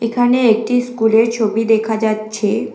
এখানে একটি স্কুলের ছবি দেখা যাচ্ছে।